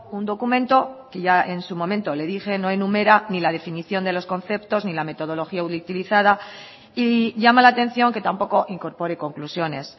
un documento que ya en su momento le dije no enumera ni la definición de los conceptos ni la metodología utilizada y llama la atención que tampoco incorpore conclusiones